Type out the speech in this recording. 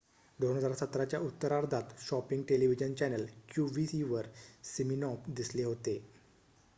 2017 च्या उत्तरार्धात shopping television channel qvc वर सिमिनॉफ दिसले होते